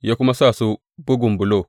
ya kuma sa su bugan bulok.